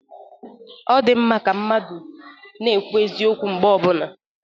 Ọdịmma ka mmadụ na-ekwu eziokwu mgbe ọbụla.